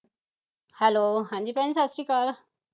hello ਹਾਂਜੀ ਭੈਣ ਸਤਿ ਸ੍ਰੀ ਅਕਾਲ